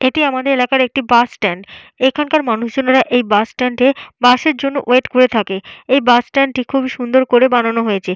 এটি আমাদের এলাকার একটি বাস স্ট্যান্ড । এখানকার মানুষজনেরা এই বাস স্ট্যান্ডে বাসের জন্য ওয়েট করে থাকে। এই বাস স্ট্যান্ড টি খুবই সুন্দর করে বানানো হয়েছে।